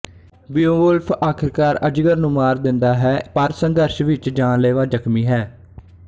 Beowulf ਆਖਰਕਾਰ ਅਜਗਰ ਨੂੰ ਮਾਰ ਦਿੰਦਾ ਹੈ ਪਰ ਸੰਘਰਸ਼ ਵਿੱਚ ਜਾਨਲੇਵਾ ਜ਼ਖਮੀ ਹੈ